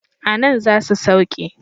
A nan za su sauke.